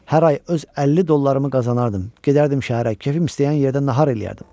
Hər ay öz 50 dollarımı qazanardım, gedərdim şəhərə, kefim istəyən yerdə nahar eləyərdim.